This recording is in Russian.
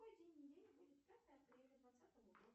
какой день недели будет пятое апреля двадцатого года